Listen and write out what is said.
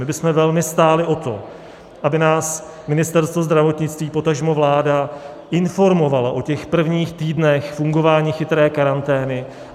My bychom velmi stáli o to, aby nás Ministerstvo zdravotnictví, potažmo vláda, informovalo o těch prvních týdnech fungování chytré karantény.